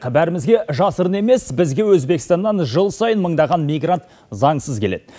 бәрімізге жасырын емес бізге өзбекстаннан жыл сайын мыңдаған мигрант заңсыз келеді